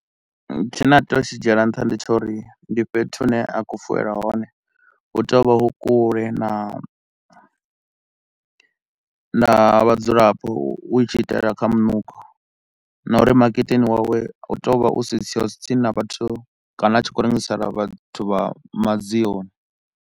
Tshine a tea u tshi dzhiela nṱha ndi tsha uri ndi fhethu hune a khou fuwelwa hone hu tea u vha hu kule na, na vhadzulapo hu tshi itela kha munukho na uri maketeni wawe u tea u vha u siho tsi tsini na vhathu kana a tshi khou rengisela vhathu vha madzioni.